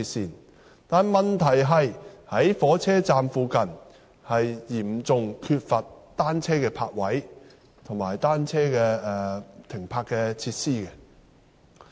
然而，問題是火車站附近嚴重缺乏單車泊位及停泊設施。